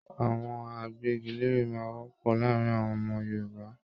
Àwọn àgbẹgilère máa n wọpọ láàrín àwọn ọmọ Yorùbá.